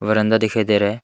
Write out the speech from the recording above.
बरामदा दिखाई दे रहा है।